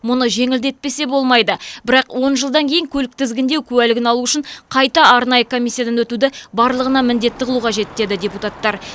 мұны жеңілдетпесе болмайды бірақ депутаттар он жылдан кейін көлік тізгіндеу куәлігін алу үшін қайта арнайы комиссиядан өтуді барлығына міндетті қылу қажет деді депутаттар